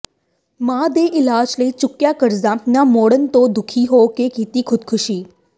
ਮਾਂ ਦੇ ਇਲਾਜ਼ ਲਈ ਚੁੱਕਿਆ ਕਰਜ਼ਾ ਨਾ ਮੁੜਨ ਤੋਂ ਦੁਖੀ ਹੋ ਕੇ ਕੀਤੀ ਖੁਦਕੁਸ਼ੀ